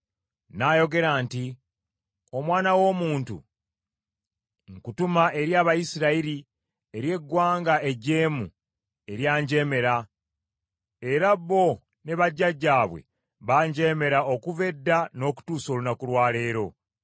N’ayogera nti, “Omwana w’omuntu, nkutuma eri Abayisirayiri, eri eggwanga ejeemu eryanjeemera, era bo ne bajjajjaabwe banjeemera okuva edda n’okutuusa olunaku lwa leero.